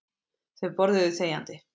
Þau borðuðu þegjandi.